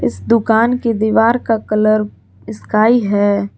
इस दुकान की दीवार का कलर स्काई है।